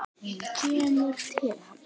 Hún kemur til hans.